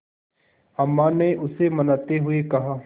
अम्मा ने उसे मनाते हुए कहा